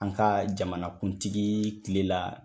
An ka jamana kuntigi kile la